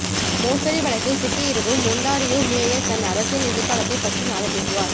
மோசடி வழக்கில் சிக்கியிருக்கும் ஒன்டாரியோ மேயர் தன் அரசியல் எதிர்காலத்தை பற்றி நாளை பேசுவார்